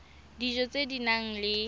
dijo tse di nang le